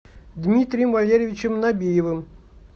дмитрием валерьевичем набиевым